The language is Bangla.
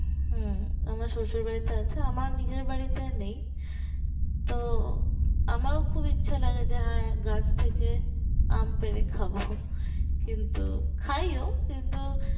হম আমার শশুর বাড়িতে আছে আমার নিজের বাড়িতে নেই তো আমারও খুব ইচ্ছা লাগে যে হ্যাঁ গাছ থেকে আমি পেরে খাবো কিন্তু খাইয়ো কিন্তু